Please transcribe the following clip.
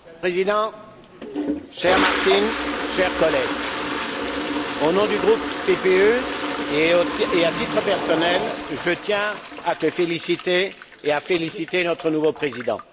Monsieur le président, cher Martin, chers collègues, au nom du groupe PPE et à titre personnel, je tiens à te féliciter et à féliciter notre nouveau Président.